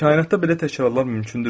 Kainatda belə təkrarlar mümkündürmü?